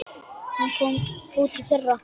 Hún kom út í fyrra.